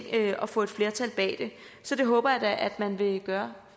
og få et flertal bag det så det håber jeg da at man vil gøre